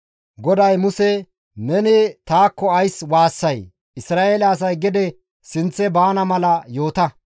GODAY Muse, «Neni taakko ays waassay? Isra7eele asay gede sinththe baana mala yoota.